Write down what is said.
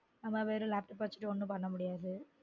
நம்ம வெறும் laptop அ வச்சுட்டு ஒன்னும் பண்ண முடியாது